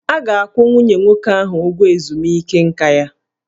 A ga-akwụ nwunye nwoke ahụ ụgwọ ezumike nka ya